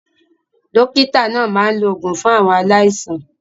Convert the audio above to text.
Dókítà náà máa ń lo òògùn fún àwọn aláìsàn.